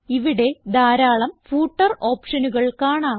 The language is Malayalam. ഇവിടെ ധാരാളം ഫൂട്ടർ ഓപ്ഷനുകൾ കാണാം